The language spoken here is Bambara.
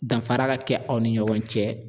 Danfara ka kɛ aw ni ɲɔgɔn cɛ